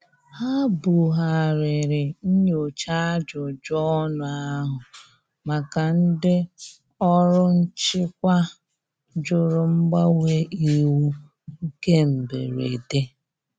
Ha bu ghariri nnyocha ajụjụ ọnụ ahu maka ndi ọrụ nchịkwa jụrụ mgbanwe iwu nke mgberede.